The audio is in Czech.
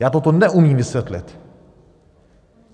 Já toto neumím vysvětlit.